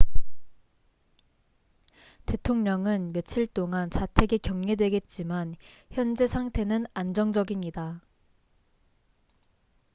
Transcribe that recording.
대통령은 며칠 동안 자택에 격리되겠지만 현재 상태는 안정적입니다